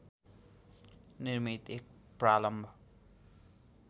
निर्मित एक प्रालम्ब